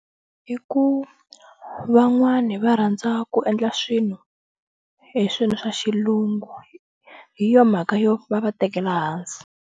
I ku van'wani va rhandza ku endla swilo hi swilo swa Xilungu hi yo mhaka yo va va tekela hansi.